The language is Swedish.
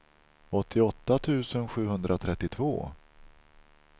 åttioåtta tusen sjuhundratrettiotvå